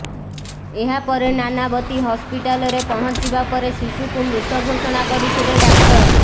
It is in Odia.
ଏହାପରେ ନାନାବତୀ ହସ୍ପିଟାଲରେ ପହଞ୍ଚିବା ପରେ ଶିଶୁକୁ ମୃତ ଘୋଷଣା କରିଥିଲେ ଡାକ୍ତର